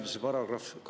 Kalle Grünthal, palun!